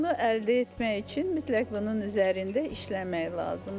Bunu əldə etmək üçün mütləq bunun üzərində işləmək lazımdır.